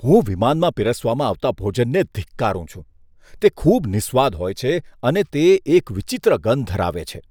હું વિમાનમાં પીરસવામાં આવતા ભોજનને ધિક્કારું છું. તે ખૂબ નિસ્વાદ હોય છે અને તે એક વિચિત્ર ગંધ ધરાવે છે.